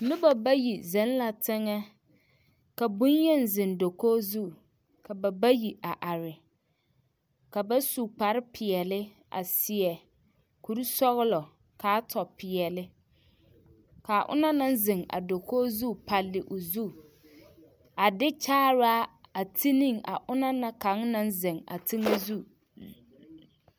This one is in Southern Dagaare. Noba bayi zeŋ la teŋɛ ka bonyeni zeŋ dakogi zu ka ba bayi a are ka ba su kpare peɛle a seɛ kuri sɔgelɔ k'a tɔ peɛle k'a onaŋ naŋ zeŋ a dakogi zu palle o zu a de kyaaraa a ti ne a ona na kaŋ naŋ zeŋ a tulo zu.